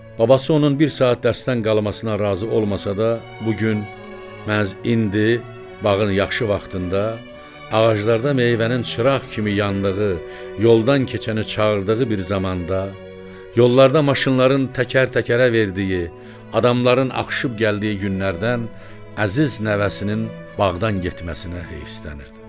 Babası onun bir saat dərsdən qalmasına razı olmasa da, bu gün məhz indi bağın yaxşı vaxtında, ağaclarda meyvənin çıraq kimi yandığı, yoldan keçəni çağırdığı bir zamanda, yollarda maşınların təkər-təkərə verdiyi, adamların axışıb gəldiyi günlərdən əziz nəvəsinin bağdan getməsinə heyfsilənirdi.